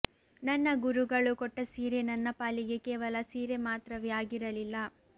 ನನ್ನ ಗುರುಗಳು ಕೊಟ್ಟ ಸೀರೆ ನನ್ನ ಪಾಲಿಗೆ ಕೇವಲ ಸೀರೆ ಮಾತ್ರವೇ ಅಗಿರಲಿಲ್ಲ